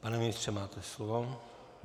Pane ministře, máte slovo.